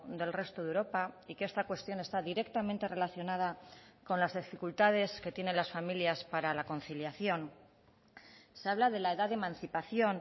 del resto de europa y que esta cuestión está directamente relacionada con las dificultades que tienen las familias para la conciliación se habla de la edad de emancipación